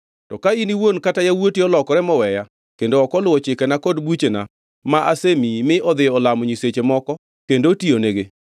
“To ka in iwuon kata yawuoti olokore moweya kendo ok oluwo chikena kod buchena ma asemiyi mi odhi olamo nyiseche moko kendo otiyonigi,